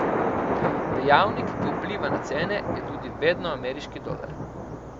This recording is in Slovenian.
Dejavnik, ki vpliva na cene, je tudi vedno ameriški dolar.